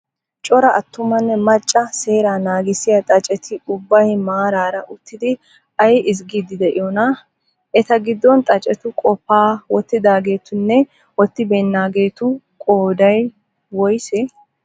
Cora attumanne macca seera naagissiyaa xaaceti ubbay maaraara uttidi ayi ezggiddi diyoonaa? Eta giddon xaacetu qophiyaa wottidaagetunne woottibeennageetu qooday woyisee?